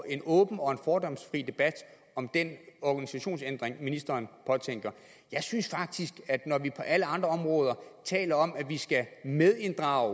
en åben og fordomsfri debat om denne organisationsændring ministeren påtænker jeg synes faktisk at når vi på alle andre områder taler om at vi skal medinddrage